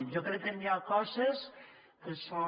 jo crec que hi ha coses que són